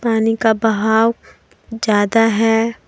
पानी का बहाव ज्यादा है।